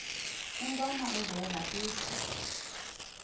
intwana unjeza ithi